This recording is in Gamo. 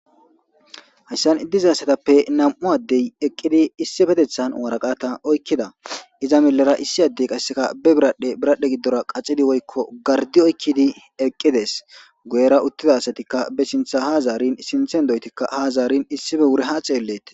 Haysan diizayssatappe issi addey eqqidi issippeteththan waraqqatta oykkidda iiza miilera issi addey qasse biradhdhe giddora qaxxidi woykko gaardi oykkidi eqqides guyyera uttida assatika be sinththa ha zaarin issippe wuri ha xellettes.